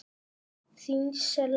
Þín Selma.